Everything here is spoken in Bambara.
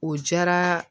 O diyara